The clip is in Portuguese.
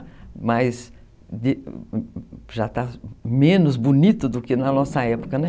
mas, já está menos bonito do que na nossa época.